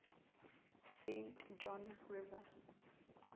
saint john river